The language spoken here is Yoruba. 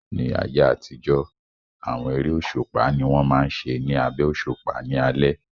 Ní ayé àtijọ́, àwọn eré òṣùpá ni wọ́n máa n ṣe ní abẹ́ òṣùpá ní alẹ́